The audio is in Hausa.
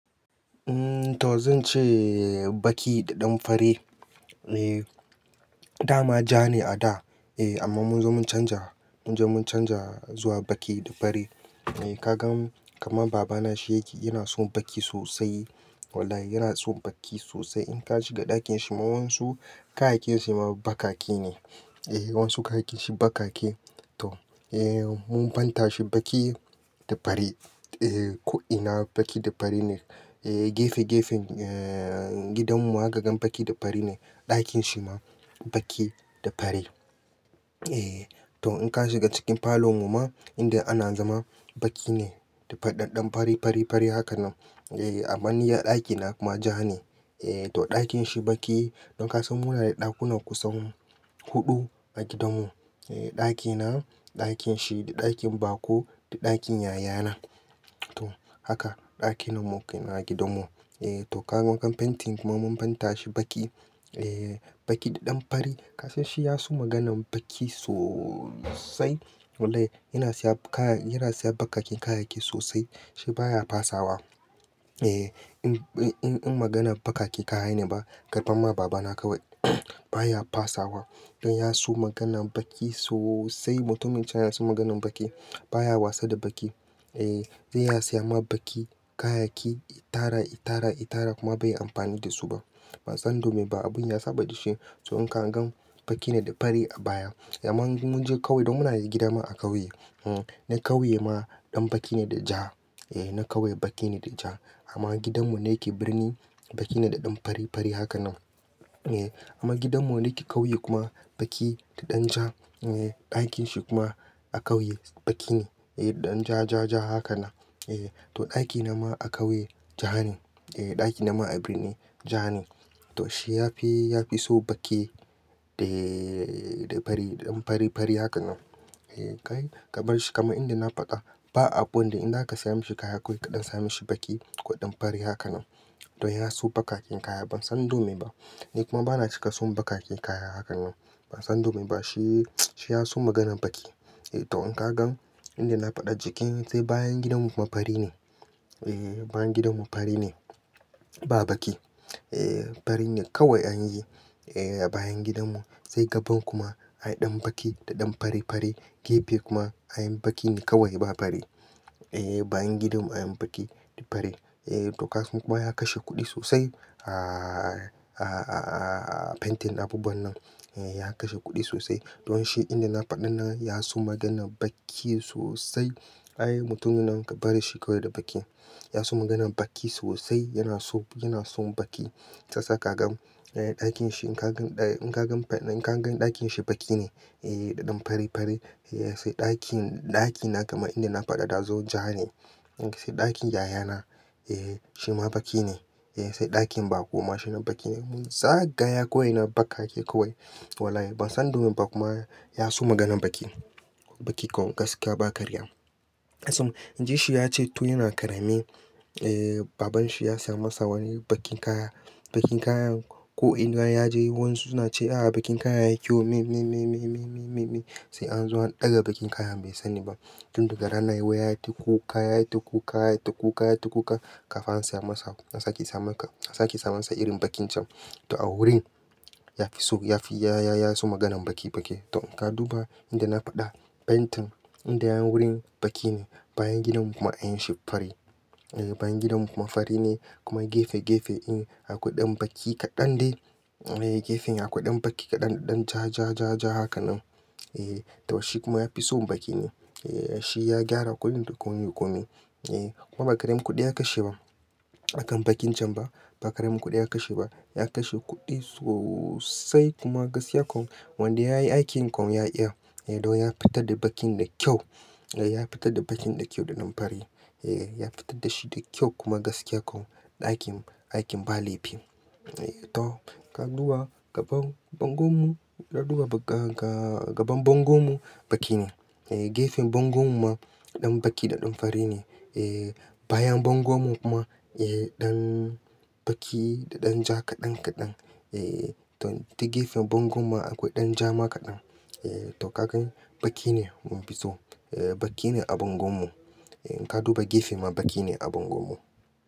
To zan ce baki da ɗan fari. Da ma ja ne a da amma mun je mun canja, mun je mun canja zuwa baki da fari. Ka ga kaman babana shi yake, yana son baki sosai. Wallahi yana son baki sosai. In ka shiga ɗakin shi ma wan su kayyakin shi ma bakaki ne. Eh, wasu kayakin shi bakaki. To, eh mun fanta shi baki da fari. Eh, ko'ina baki da fari ne. Eh gefe gefen eh gidan mu haka gan baki da fari ne. Ɗakin shi ma baki da fari. Eh to in ka shiga cikin falon mu ma inda ana zama baki ne da ɗanɗan fari, fari, fari haka nan. Eh aman ni ar ɗaki na kuma ja ne. Eh to ɗakin shi baki. Don ka san muna da ɗakunan kusan huɗu a gidan mu. Eh ɗaki na, ɗakin shi, ɗakin bako da ɗakin yaya na. To haka ɗakin mu a gidan mu. Eh to ka ga wakan painting kuma mun painter shi baki. Eh baki da ɗan fari. Ka san shi ya so maganan baki sosai. Wallahi yana siya kaya, yana siya bakaken kayayyaki sosai. Shi baya fasawa. Eh in, in, in magana bakaki kaya ne ba, kabar ma baba na kawai baya fasawa. Don ya so maganan baki sosai. Mutumin can yana son maganan baki. Baya wasa da baki. Eh sai ya siya ma baki kayayyaki itara, itara, itara kuma bai yi amfani da su ba. Ban san dome ba abin ya saba da shi. To in ka gan baki ne da fari a baya. Eh amma mun je ƙauye don muna da gida ma a ƙauye. Hm, na ƙauye ma ɗan baki ne da ja. Eh na ƙauye baki ne da ja amma gidan mu ne yake birni, baki ne da ɗan fari, fari haka nan. Eh amma gidan mu ne ke ƙauye kuma baki da ɗan ja. Eh ɗakin shi kuma a ƙauye baki ne eh da ɗan ja, ja, ja haka nan. Eh to ɗaki na ma a ƙauye ja ne. Eh ɗaki na ma a birni ja ne. To shi yafi, yafi so baki da, da fari, ɗan fari, fari haka nan. Eh kai ka bar shi kaman inda na faɗa ba abu wanda in zaka siya mashi kaya kawai kaɗan samo mishi baki ko ɗan fari haka nan. To ya so bakaken kaya ban san don me ba. Ni kuma bana cika son bakaken kaya hakan nan. Ban san don me ba shi, shi ya so maganan baki. Eh to in ka gan inda na faɗa jiki sai bayan gidan mu kuma fari ne. E, bayan gidan mu fari ne ba baki. Eh fari ne kawai anyi. Eh a bayan gidan mu sai gaban kuma ai ɗan baki da ɗan fari, fari. Gefe kuma anyi baki ne kawai ba fari. Eh bayan gidan mu anyi baki da fari. Eh to ka san kuma ya kashe kuɗi sosai a, a, a painting abubuwan nan. Eh ya kashe kuɗi sosai. Don shi inda na faɗa na ya so maganan baki sosai. Ai mutumin nan ka bari shi kawai da baki. Ya so maganan baki sosai. Yana so, yana son baki. Sassa ka gan ɗakin shi in ka gan, in ka gan, in ka gan ɗakin shi baki ne eh da ɗan fari, fari. Eh sai ɗakin, ɗaki na kaman inda na faɗa da zo ja ne. Sai ɗakin yaya na eh shi ma baki ne. Eh sai ɗakin bako ma shine baki ne. Mun tsaga ya kawai na bakaki kawai. Wallahi ban san dome ba kuma ya so maganan baki. Baki kawai gaskiya ba karya. Ka san jiya shi ya ce to yana karame eh baban shi ya siya masa wani bakin kaya. Bakin kayan ko'ina ya je wansu na ce "ah baki kayan yayi kyau. Mei, mei, mei, mei, mei, mei, mei, mei." Sai an zo an ɗaga bakin kayan bai sani ba. Tun daga ranan yau ya yi ta kuka, ya yi ta kuka, ya yi ta kuka, ya yi ta kuka. Kafa an siya masa. An saki sa maka, an saki sa masa irin bakin can. To a wurin ya fi so, ya fi ya, ya, ya so maganan baki, baki. To in ka duba inda na faɗa painting inda yayi wurin baki ne. Bayan gidan mu kuma anyi shi fari. Eh bayan gidan mu kuma fari ne kuma gefe, gefe in akwai ɗan baki kaɗan dai. Eh gefen akwai ɗan baki kaɗan ɗan ja, ja, ja, ja haka nan. Eh to shi kuma ya fi son baki ne. Eh shi ya gyara komin da komin. Eh kuma ba karamin kuɗi ya kashe ba. Akan bakin can ba. Ba karamin kuɗi ya kashe ba. Ya kashe kuɗi sosai kuma gaskiya kam wanda yayi aikin kam ya iya. Eh don ya fitar da bakin da kyau. Eh ya fitar da bakin da kyau da ɗan fari. Eh ya fitar da shi da kyau kuma gaskiya kawai ɗakin, aikin ba laifi. Eh to ka duba gaban bangon mu, ka duba ga, ga, gaban bangon mu baki ne. Eh gefen bangon mu ma ɗan baki da ɗan fari ne. Eh bayan bangon mu kuma eh ɗan baki da ɗan ja kaɗan, kaɗan. Eh to, ta gefen bangon mu akwai ɗan ja ma kaɗan. Eh to ka gan baki ne mun fi so. Eh baki ne a bangon mu. Eh in ka duba gefe ma baki ne a bangon mu.